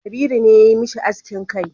Kabiru ne ya yi mishi askin kai